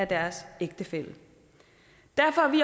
deres ægtefælle derfor er vi